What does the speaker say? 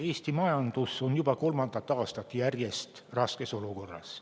Eesti majandus on juba kolmandat aastat järjest raskes olukorras.